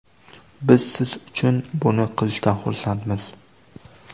Biz siz uchun buni qilishdan xursandmiz.